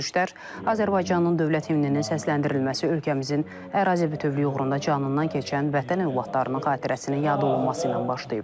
Görüşlər Azərbaycanın dövlət himninin səsləndirilməsi, ölkəmizin ərazi bütövlüyü uğrunda canından keçən vətən övladlarının xatirəsinin yad olunması ilə başlayıb.